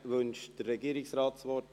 Wünscht der Regierungsrat das Wort?